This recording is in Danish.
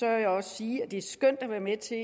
jeg også sige at det er skønt at være med til